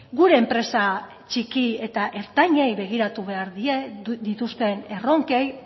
gure enpresa txiki eta ertainei begiratu behar die dituzten erronkei